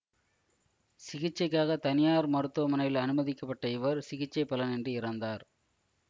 சிகிச்சைக்காக தனியார் மருத்துவமனையில் அனுமதிக்கப்பட்ட இவர் சிகிச்சை பலனின்றி இறந்தார்